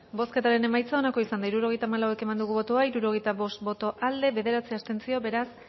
bozketaren emaitza onako izan da hirurogeita hamalau eman dugu bozka hirurogeita bost boto aldekoa bederatzi abstentzio beraz